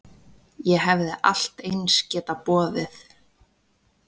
Ég hefði allt eins getað boðið